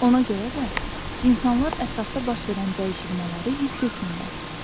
Ona görə də insanlar ətrafda baş verən dəyişilmələri hiss etmirlər.